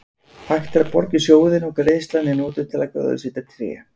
Hægt er að borga í sjóðinn og greiðslan er notuð til að gróðursetja tré.